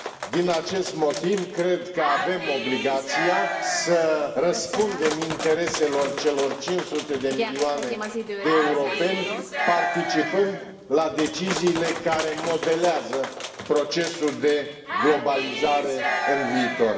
Din acest motiv, cred că avem obligația să răspundem intereselor celor 500 de milioane de europeni, participând la deciziile care modelează procesul de globalizare în viitor.